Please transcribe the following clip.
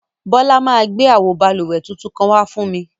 Bola ma gbẹ awo bálúwẹ̀ tuntun kan wà fún mi.